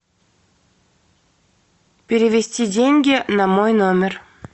перевести деньги на мой номер